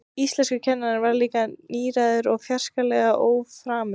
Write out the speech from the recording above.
Íslenskukennarinn var líka nýgræðingur og fjarskalega óframur.